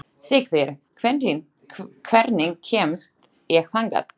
Sigtýr, hvernig kemst ég þangað?